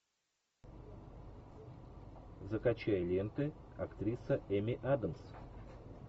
закачай ленты актриса эми адамс